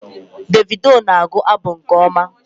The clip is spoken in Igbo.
Davido na-agụ abụ nke ọma